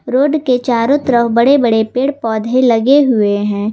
Road के चारों तरफ बड़े बड़े पेड़ पौधे लगे हुए हैं।